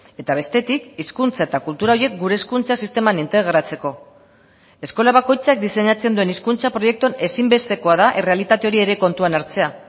eta bestetik hizkuntza eta kultura horiek gure hezkuntza sisteman integratzeko eskola bakoitzak diseinatzen duen hizkuntza proiektuan ezinbestekoa da errealitate hori ere kontuan hartzea